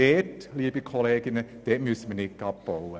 Dort, liebe Kolleginnen und Kollegen, müssen wir nicht abbauen.